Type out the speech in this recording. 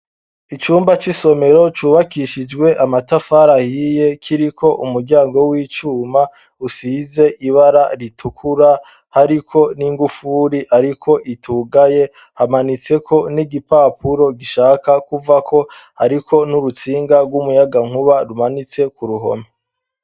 Icumba c'isomero cubakishijwe amatafari ahiye kiri ko umuryango w'icuma usize ibara ritukura hariko n'ingufuri, ariko itugaye hamanitseko n'igipapuro gishaka kuvako, ariko n'urutsinga rw'umuyaga nkuba rumanitse ku ruhome.